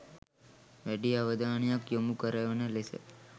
වැඩි අවධානයක් යොමු කරවන ලෙස